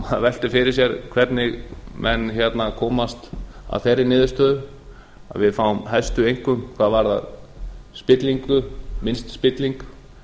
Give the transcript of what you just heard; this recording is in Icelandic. maður veltir fyrir sér hvernig menn komast að þeirri niðurstöðu að við fáum hæstu einkunn hvað varðar spillingu minnst spilling